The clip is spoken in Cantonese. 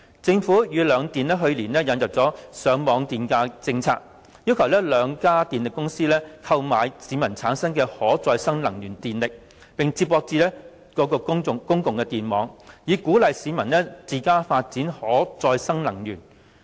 政府與兩電去年引入了上網電價政策，要求兩家電力公司購買市民產生的可再生能源電力，接駁至公共電網，以鼓勵市民自家發展可再生能源。